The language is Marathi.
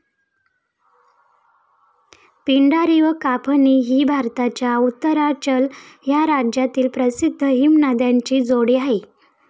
पिंडारी व काफनी ही भारताच्या उत्तरांचल या राज्यातील प्रसिद्ध हिमनद्यांची जोडी आहे.